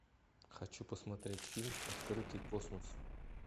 хочу посмотреть фильм открытый космос